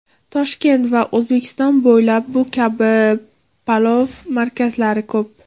Toshkent va O‘zbekiston bo‘ylab bu kabi palov markazlari ko‘p.